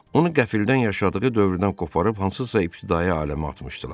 Onu qəfildən yaşadığı dövrdən qoparıb hansısa ibtidai aləmə atmışdılar.